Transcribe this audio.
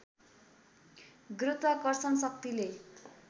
गुरुत्वाकर्षण शक्तिले